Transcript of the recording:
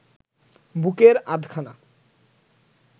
বুকের আধখানা